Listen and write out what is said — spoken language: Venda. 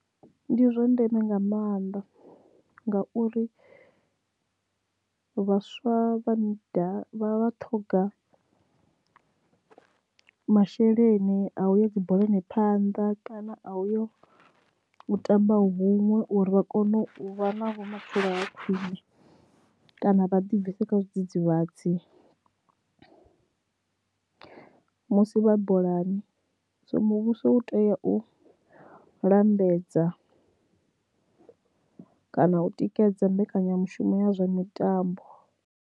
Ndi zwa ndeme nga mannḓa ngauri vhaswa vha nda vha ṱhoga masheleni a uya dzi bolani phanḓa kana a uyo u tamba huṅwe uri vha kone u vha na vhumatshelo ha khwine kana vha ḓi bvise kha zwidzidzivhadzi musi vha bolani so muvhuso u tea u lambedza kana u tikedza mbekanyamushumo ya zwa mitambo.